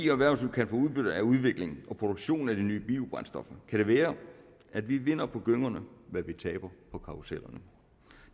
erhvervsliv kan få udbytte af udvikling og produktion af de nye biobrændstoffer kan det være at vi vinder på gyngerne hvad vi taber på karrusellerne